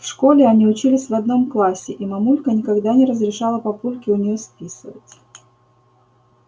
в школе они учились в одном классе и мамулька никогда не разрешала папульке у неё списывать